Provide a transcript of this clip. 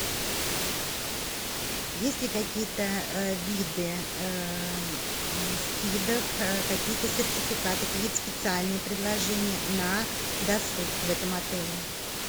есть ли какие то виды скидок какие то сертификаты какие то специальные предложения на досуг в этом отеле